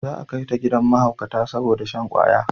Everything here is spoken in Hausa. Za a kai ta gidan mahaukata saboda shan kwaya